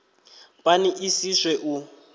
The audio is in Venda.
pani i si swe u